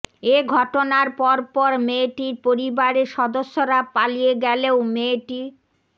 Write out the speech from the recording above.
এ ঘটনার পরপর মেয়েটির পরিবারের সদস্যরা পালিয়ে গেলেও মেয়েটি